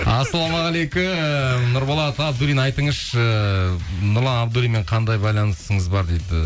ассалаумағалейкум нұрболат абдуллин айтыңызшы нұрлан абдуллинмен қандай байланысыңыз бар дейді